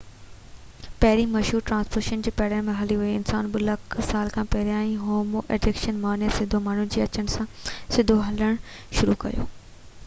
پهرين مشهور ٽرانسپورٽيشن پيرن تي هلڻ هئي، انسانن 2 لک سال پهرين هومو اريڪٽس معنيٰ سڌو ماڻهو جي اچڻ سان سڌو هلڻ شروع ڪيو